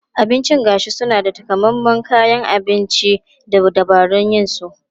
Abincin gashi suna da takamaiman kayan abinci da dabarun yin su.